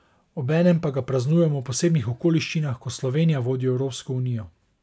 Obenem pa ga praznujemo v posebnih okoliščinah, ko Slovenija vodi Evropsko unijo.